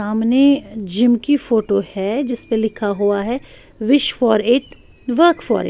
सामने जिम की फोटो है जिसपे लिखा हुआ है wish for it work for --